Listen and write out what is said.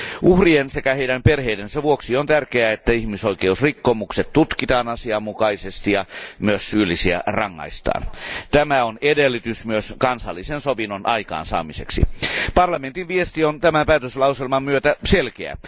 Uhrien sekä heidän perheidensä vuoksi on tärkeää, että ihmisoikeusrikkomukset tutkitaan asianmukaisesti ja myös syyllisiä rangaistaan. Tämä on edellytys myös kansallisen sovinnon aikaansaamiseksi. Parlamentin viesti on tämän päätöslauselman myötä selkeä.